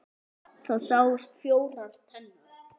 Það sáust fjórar tennur.